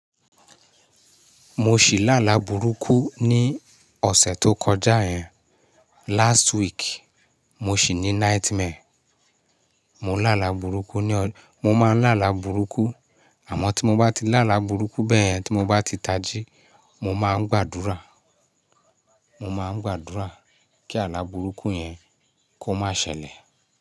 Mo sì lá ala burúkú ní ọ̀sẹ̀ tó kọjá yẹn. Last week, mo sì ní nightmare. Mo lá ala burúkú ní ọ mo máa ń lá ala burúkú àmọ́ tí mo bá ti lá ala burúkú bẹ́ẹ̀ yẹn tí mo bá ti tají, mo máa ń gbàdúrà, mo máa ń gbàdúrà kí ala burúkú yẹn kó má ṣẹlẹ̀.